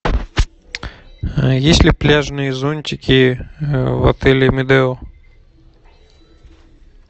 есть ли пляжные зонтики в отеле медео